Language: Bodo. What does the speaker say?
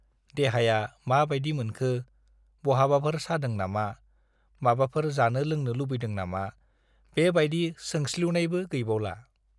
देहाया मा बाइदि मोनखो, बहाबाफोर सादों नामा, माबाफोर जानो-लोंनो लुबैदों नामा, बे बाइदि सोंस्लिउनायबो गैबावला।